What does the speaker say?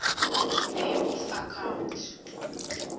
name of account